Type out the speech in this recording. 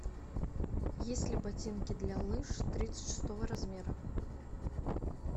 есть ли ботинки для лыж тридцать шестого размера